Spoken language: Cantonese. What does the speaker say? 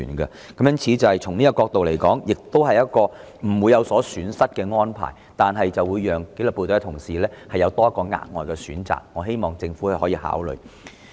因此，從這個角度來說，這是一項不會有損失的安排，但卻可為紀律部隊同事提供額外選擇，希望政府予以考慮。